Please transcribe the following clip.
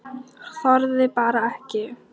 Þorði bara ekki.